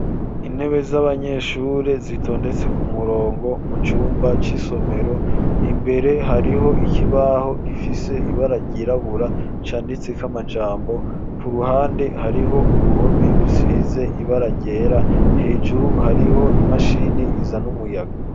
Intebe z'abanyeshure zitondetse ku murongo mu cumba c'isomero imbere hariho ikibaho gifise ibararyirabura canditse k'amajambo ku ruhande hariho uruhome rusize ibararyera hejuru hariho imashini iza n'umuyaga.